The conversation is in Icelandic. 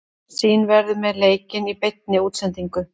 Sýn verður með leikinn í beinni útsendingu.